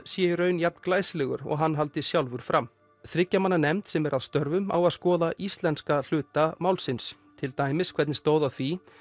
sé í raun jafn glæsilegur og hann haldi sjálfur fram þriggja manna nefndin sem er að störfum á að skoða íslenska hluta málsins til dæmis hvernig stóð á því